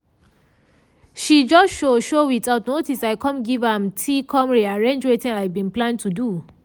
she just show show without notice i com give am tea com rearrange wetin i bin plan to do.